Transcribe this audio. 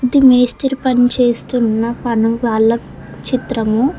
ఇది మేస్త్రి పని చేస్తున్న పని వాళ్ళ చిత్రము.